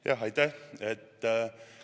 Jah, aitäh!